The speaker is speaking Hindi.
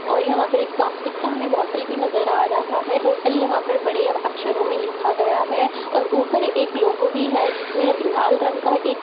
और यहाँ पे एक प्लास्टिक का हमें बोटल भी नज़र आ रहा हैं होटल यहाँ पर बड़े अक्षरों में लिखा गया है और ऊपर एक लोगो भी है जिसमें लाल रंग का एक --